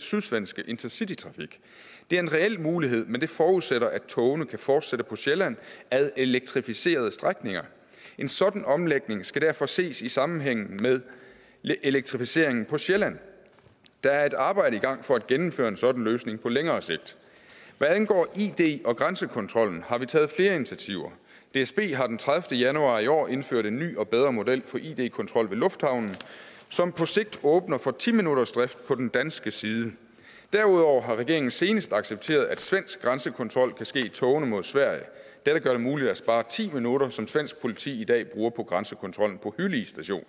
sydsvenske intercitytrafik det er en reel mulighed men det forudsætter at togene kan fortsætte på sjælland ad elektrificerede strækninger en sådan omlægning skal derfor ses i sammenhæng med elektrificeringen på sjælland der er et arbejde i gang for at gennemføre en sådan løsning på længere sigt hvad angår id og grænsekontrollen har vi taget flere initiativer dsb har den tredivete januar i år indført en ny og bedre model for id kontrol ved lufthavnen som på sigt åbner for ti minuttersdrift på den danske side derudover har regeringen senest accepteret at svensk grænsekontrol kan ske i togene mod sverige dette gør det muligt at spare ti minutter som svensk politi i dag bruger på grænsekontrollen på hyllie station